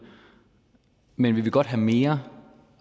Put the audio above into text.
men vi vil godt have mere